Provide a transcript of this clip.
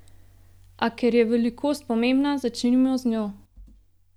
A ker je velikost pomembna, začnimo z njo.